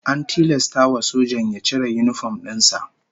An tilasta wa sojan ya cire yinifom din sa